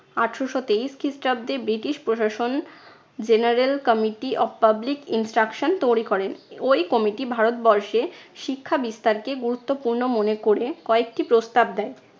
আঠারশো তেইশ খ্রিস্টাব্দে ব্রিটিশ প্রশাসন general committee of public instruction তৈরী করেন। ঐ committee ভারতবর্ষে শিক্ষা বিস্তারকে গুরুত্বপূর্ণ মনে করে কয়েকটি প্রস্তাব দেয়।